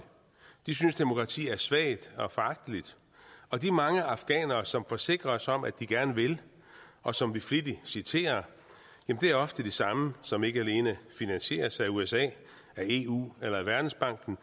de synes demokrati er svagt og foragteligt og de mange afghanere som forsikrer os om at de gerne vil og som vi flittigt citerer er ofte de samme som ikke alene finansieres af usa af eu eller af verdensbanken